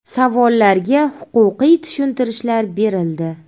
Savollarga huquqiy tushuntirishlar berildi.